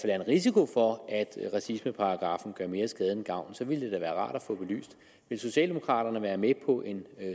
er en risiko for at racismeparagraffen gør mere skade end gavn ville det da være rart at få belyst vil socialdemokraterne være med på en